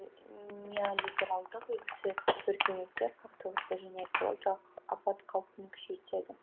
неолибералдық үлгісі өркениеттер қақтығысы және экологиялық апат қаупін күшейтеді